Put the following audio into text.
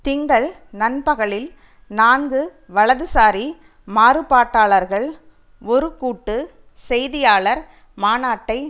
திங்கள் நண்பகலில் நான்கு வலதுசாரி மாறுபாட்டாளர்கள் ஒரு கூட்டு செய்தியாளர் மாநாட்டை